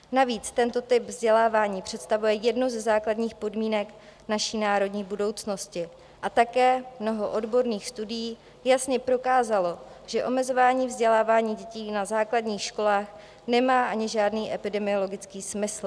Navíc tento typ vzdělávání představuje jednu ze základních podmínek naší národní budoucnosti, a také mnoho odborných studií jasně prokázalo, že omezování vzdělávání dětí na základních školách nemá ani žádný epidemiologický smysl.